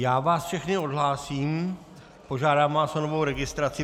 Já vás všechny odhlásím, požádám vás o novou registraci.